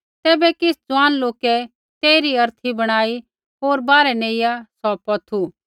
तैबै किछ़ ज़ुआन लोकै तेइरी अर्थी बणाई होर बाहरै नेइआ सौ पौथू